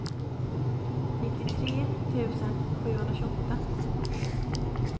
nittiotre tusen sjuhundratjugoåtta